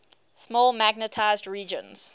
small magnetized regions